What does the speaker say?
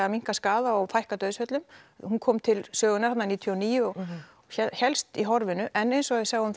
minnkað skaða og fækkað dauðsföllum hún kom til sögunnar þarna níutíu og níu og hélst í horfinu en eins og við sjáum